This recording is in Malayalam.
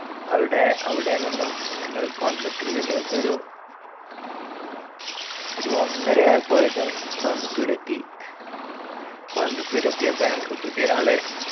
അവിടെ അവിടെ നിന്നും ഞങ്ങൾ കോയമ്പത്തൂരേക്ക് ഒരു ഒരു ഒന്നര ആയപ്പോഴേക്കും കോയമ്പത്തൂര് എത്തി കോയമ്പത്തൂര് എത്തിയപ്പോ ഞങ്ങക് പുതിയ ഒരാളെ